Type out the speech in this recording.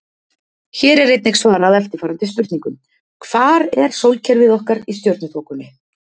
Hér er einnig svarað eftirfarandi spurningum: Hvar er sólkerfið okkar í stjörnuþokunni?